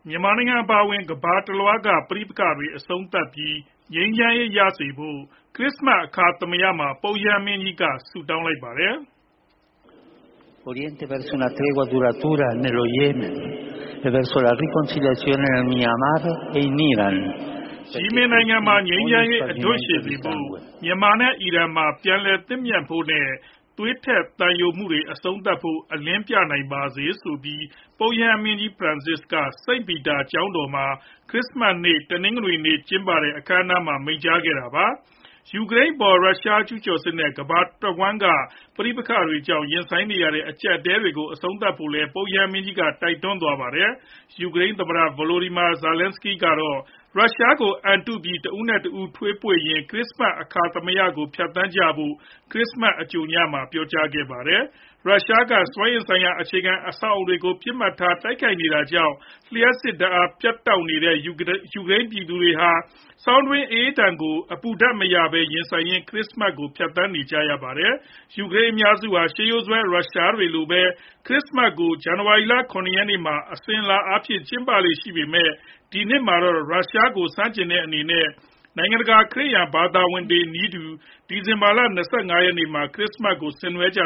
မြန်မာနိုင်ငံ အပါအဝင် ကမ္ဘာတလွှားက ပဋိပက္ခတွေအဆုံးသတ်ပြီး၊ ငြိမ်းချမ်းရေးရစေဖို့ ခရစ္စမတ် အခါသမယ မှာ ပုပ်ရဟန်းမင်းကြီးက ဆုတောင်းလိုက်ပါတယ်။ “ယီမင်နိုင်ငံမှာ ငြိမ်းချမ်းရေး အဓွန့်ရှည်စေဖို့၊ မြန်မာနဲ့ အီရန်မှာ ပြန်လည်သင့်မြတ်ဖို့နဲ့ သွေးထွက်သံယိုမှုတွေ အဆုံးသတ်ဖို့ အလင်းပြနိုင်ပါစေ။” ဆိုပြီး ပုပ်ရဟန်းမင်းကြီး ဖရန်စစ်က စိန့်ပီတာကျောင်းတော်မှာ ခရစ္စမတ်နေ့ တနင်္ဂနွေနေ့ ကျင်းပတဲ့ အခမ်းအနားမှာ မိန့်ကြားခဲ့တာပါ။ ယူကရိန်းအပေါ် ရုရှားကျုးကျော်စစ်နဲ့ ကမ္ဘာတဝှမ်းက ပဋိပက္ခတွေကြောင့် ရင်ဆိုင်နေရတဲ့ အကျပ်အတည်းတွေကို အဆုံးသတ်ဖို့လည်း ပုပ်ရဟန်းမင်းကြီးက တိုက်တွန်းသွားပါတယ်။ ယူကရိန်း သမ္မတ Volodymyr Zelenskiy ကတော့ ရုရှားကို အံတုပြီး တဦးနဲ့တဦ ထွေးပွေ့ရင်း ခရစ္စမတ် အခါသမယကို ဖြတ်သန်းကြဖို့ ခရစ်စမတ် အကြိုညမှာပဲ ပြောကြားခဲ့တာပါ။ ရုရှားက စွမ်းအင်ဆိုင်ရာ အခြေခံအဆောက်အအုံတွေကို ပစ်မှတ်ထား တိုက်ခိုက်နေတာကြောင့် လျှပ်စစ်ဓာတ် ပြတ်လပ်နေတဲ့ ယူကရိန်းပြည်သူတွေဟာ ဆောင်းတွင်းအအေးဒဏ်ကို အပူဓာတ်မရဘဲ ရင်ဆိုင်ရင်း ခရစ္စမတ်ကို ဖြတ်သန်းနေကြရပါတယ်။ ယူကရိန်းအများစုဟာ ရှေးရိုးစွဲ ရုရှားတွေလိုပဲ ခရစ္စမတ်ကို ဇန်နဝါရီလ ၇ ရက်နေ့မှာ အစဉ်အလာအားဖြင့် ကျင်းပလေ့ရှိပေမဲ့ ဒီနှစ်မှာတော့ ရုရှားကို ဆန့်ကျင်တဲ့အနေနဲ့ နိုင်ငံတကာက ခရစ်ယာန် ဘာသာဝင်တွေနည်းတူ ဒီဇင်ဘာလ ၂၅ နေ့မှာ ခရစ္စမတ်ပွဲကို ဆင်နွှဲခဲ့ကြ